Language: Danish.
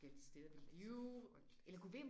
Ej det er så frygteligt